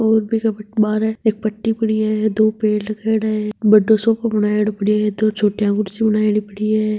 और बिके बठे बारे एक पटी पड़ी हैदो पेड़ लगायोड़ा है बड़ो सोफो बनायोडो पड्यो है दो छोटी कुर्सीया पड़ी है।